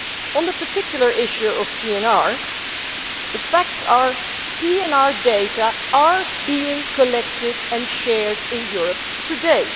On the particular issue of PNR, the facts are that PNR data are being collected and shared in Europe today.